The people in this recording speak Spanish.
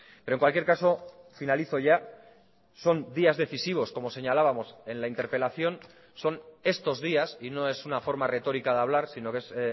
pero en cualquier caso finalizo ya son días decisivos como señalábamos en la interpelación son estos días y no es una forma retórica de hablar sino que es